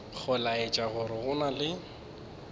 go laetša gore go na